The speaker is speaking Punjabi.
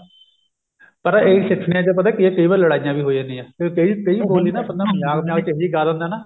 ਪਰ ਇਹ ਸਿੱਟਠਣੀਆਂ ਵਿੱਚ ਪਤਾ ਕੀ ਏ ਕਈ ਵਰੀ ਲੜਾਈਆਂ ਵੀ ਹੋ ਜਾਂਦੀਆਂ ਫਿਰ ਕਈ ਉਹ ਨਹੀਂ ਨਾ ਮਜਾਕ ਮਜਾਕ ਵਿੱਚ ਇਹੀ ਗਾ ਦਿੰਦਾ ਨਾ